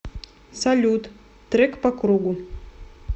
салют трек по кругу